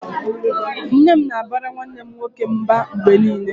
Nne m na-abara nwanne m nwoke mba mgbe niile